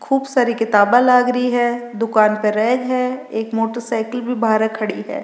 खूब सारी किताबा लाग री है दुकान पर रैंक है एक मोटरसाइकिल भी बार खड़ी है।